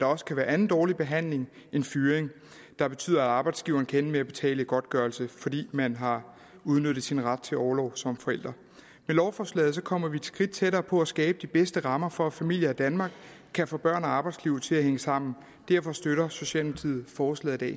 også kan være anden dårlig behandling end fyring der betyder at arbejdsgiveren kan ende med at betale godtgørelse fordi man har udnyttet sin ret til orlov som forældre med lovforslaget kommer vi et skridt tættere på at skabe de bedste rammer for at familier i danmark kan få børn og arbejdsliv til at hænge sammen derfor støtter socialdemokratiet forslaget